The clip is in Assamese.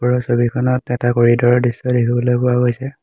ওপৰৰ ছবিখনত এটা কৰিদৰ ৰ দৃশ্য দেখিবলৈ পোৱা গৈছে।